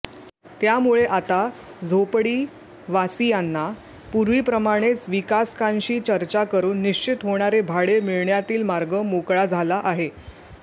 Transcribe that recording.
त्यामुळे आता झोपडीवासीयांना पूर्वीप्रमाणेच विकासकांशी चर्चा करून निश्चित होणारे भाडे मिळण्यातील मार्ग मोकळा झाला आहे